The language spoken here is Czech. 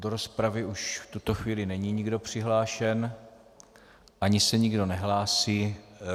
Do rozpravy už v tuto chvíli není nikdo přihlášen ani se nikdo nehlásí.